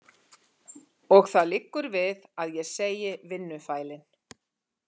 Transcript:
Og það liggur við að ég segi vinnufælin.